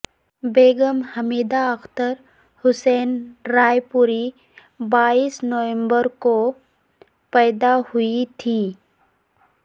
بیگم Hamida Akhtar Hussain Raipuri بائیس نومبر کو پیدا ہوئی تھیں